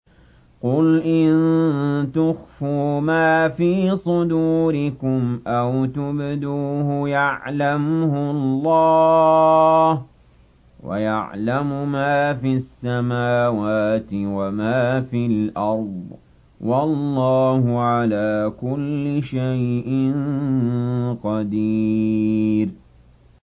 قُلْ إِن تُخْفُوا مَا فِي صُدُورِكُمْ أَوْ تُبْدُوهُ يَعْلَمْهُ اللَّهُ ۗ وَيَعْلَمُ مَا فِي السَّمَاوَاتِ وَمَا فِي الْأَرْضِ ۗ وَاللَّهُ عَلَىٰ كُلِّ شَيْءٍ قَدِيرٌ